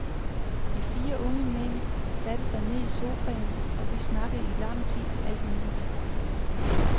De fire unge mænd satte sig ned i sofaen, og vi snakkede i lang tid om alt muligt.